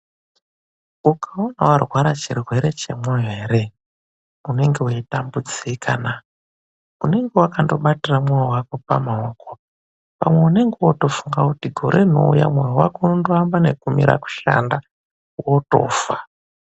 Ukaona warwara chirwere chemwoyo eree, unenge weitambudzika na! Unenge wakandobatira mwoyo wako pamaoko, pamwe unenge wootofunga kuti gore rinouya mwoyo wako unondoamba nekumira kushanda wotofa.